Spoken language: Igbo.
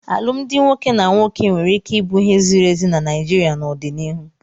Alụmdi nwoke na nwoke nwere ike ịbụ ihe ziri ezi na Naịjirịa n'ọdịnihu.